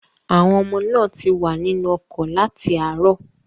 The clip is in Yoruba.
Àwọn ọmọ náà ti wà nínú ọkọ̀ láti àárọ̀.